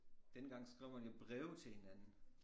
Dengang skrev man jo breve til hinanden